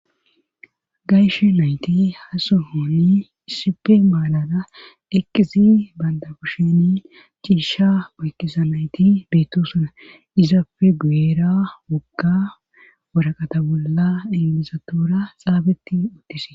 gayshe nayti hasohonni issipe maanada eqqisi banda kusheni chiisha maykisa nayti beettu suna izapfe gueera wogga woraqata bolla eqizatura xaabeti uttise